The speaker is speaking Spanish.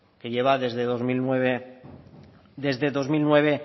que lleva desde dos mil nueve